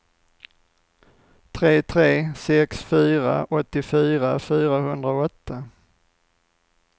tre tre sex fyra åttiofyra fyrahundraåtta